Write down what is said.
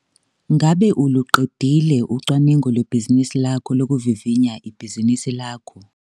Ngabe uluqedile ucwaningo lwebhizinisi lakho lokuvivinya ibhizinisi lakho?